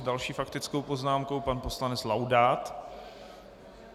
S další faktickou poznámkou pan poslanec Laudát.